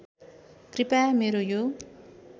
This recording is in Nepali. कृपया मेरो यो